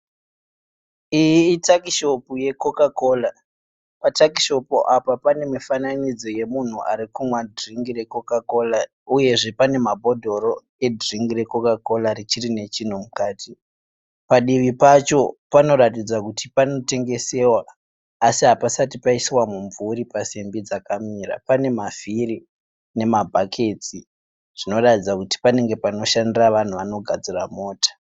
Iyi itakishopu yeCoca Cola. Patakishopu apa pane mufananidzo wemunhu arikumwa dhiringi reCoca Cola uyezve pane mabhodhoro edhiringi reCoca Cola richiri nechinhu mukati. Padivi pacho panoratidza kuti panotengesewa asi hapasati paiswa mumvuri pasimbi dzakamira. Pane mavhiri nemabhaketsi zvinoratidza kuti panenge panoshandira vanhu vanogadzira mota